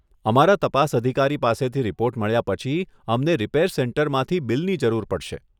અમારા તપાસ અધિકારી પાસેથી રિપોર્ટ મળ્યા પછી, અમને રિપેર સેન્ટરમાંથી બિલની જરૂર પડશે.